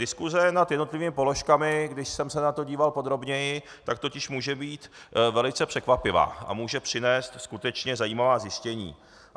Diskuse nad jednotlivými položkami, když jsem se na to díval podrobněji, tak totiž může být velice překvapivá a může přinést skutečně zajímavá zjištění.